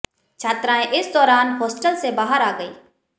छात्राएं इस दौरान होस्टल से बाहर आ गईं